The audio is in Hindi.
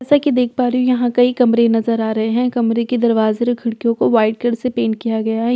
जैसा कि देख पा रही हूं यहां कई कमरे नजर आ रहे हैं कमरे के दरवाजे और खिड़कियों को वाइट कलर से पेंट किया गया है।